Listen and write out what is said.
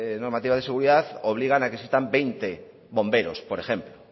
normativas de seguridad obligan a que existan veinte bomberos por ejemplo